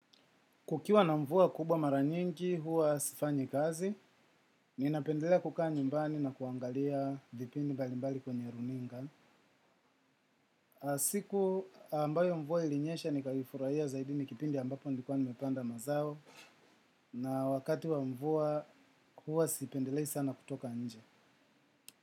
Kukiwa na mvua kubwa mara nyingi huwa sifanyi kazi, ninapendelea kukaa nyumbani na kuangalia vipindi mbalimbali kwenye runinga. Siku ambayo mvua ilinyesha nikaifurahia zaidi ni kipindi ambapo nilikuwa nimepanda mazao na wakati wa mvua huwa sipendelei sana kutoka nje.